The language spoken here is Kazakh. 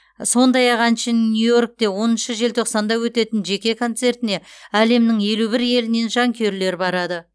сондай ақ әншінің нью йоркте оныншы желтоқсанда өтетін жеке концертіне әлемнің елу бір елінен жанкүйерлер барады